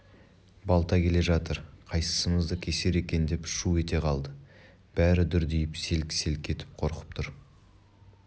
балта келе жатыр қайсымызды кесер екен деп шу ете қалды бәрі дүрдиіп селк-селк етіп қорқып тұр